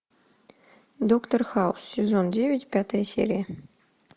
доктор хаус сезон девять пятая серия